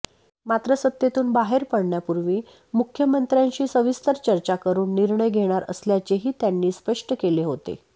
मात्र सत्तेतून बाहेर पडण्यापूर्वी मुख्यमंत्र्यांशी सविस्तर चर्चा करून निर्णय घेणार असल्याचेही त्यांनी स्पष्ट केले होते